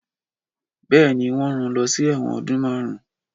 Bèéní, wọ́n rán lọ sí ẹ̀wọ̀n ọdún márùn un.